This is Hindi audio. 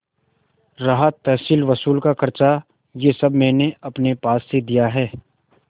रहा तहसीलवसूल का खर्च यह सब मैंने अपने पास से दिया है